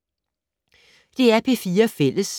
DR P4 Fælles